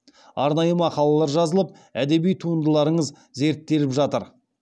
арнайы мақалалар жазылып әдеби туындыларыңыз зерттеліп жатыр